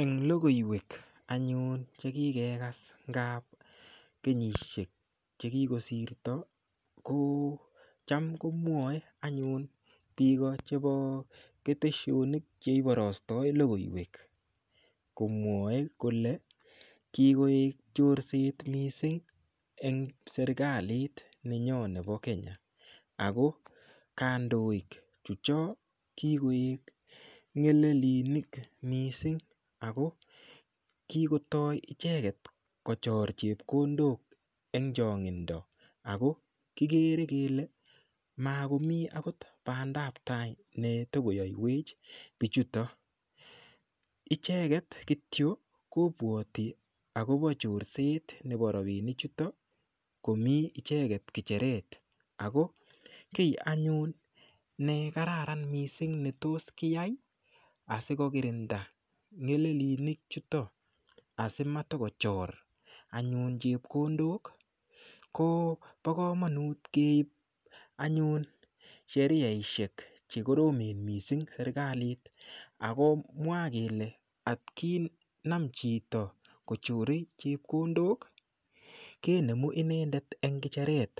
en logoiwek anyun chekikekas ngap kenyishek chekikosirto cham komwoe anyun biik chebo keteshonik cheiborosto logoiwek komwoe kole kikoet chorset mising en serkalit nenyon nepo kenya ako kandoik chechok kikoik ngelelinik missing ako kikotoi icheket kochor chepkondok en chongindo ako kiker kele makomi akot bandaptai netokoyoiwech bichuto icheket kityok kobwoti akobo chorset nepo rapini chuto komi icheket ngecheret ako kii anyun nekararan mising netos kiyai ii asikokirinda ngelelilinik chuto asimatakochor anyun chepkondok ko bo komonut keib anyun sheriaishek chekoromen mising serkalit akomwa kele atkinamchi chito kochore anyun chepkondok kinemu inendet en kecheret